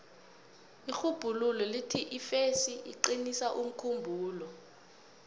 irhubhululo lithi ifesi iqinisa umkhumbulo